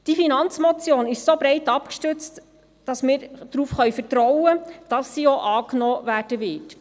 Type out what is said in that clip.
Weil diese Finanzmotion () so breit abgestützt ist, können wir darauf vertrauen, dass sie auch angenommen wird.